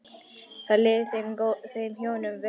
Þá liði þeim hjónum vel.